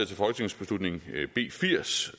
til folketingsbeslutning b firs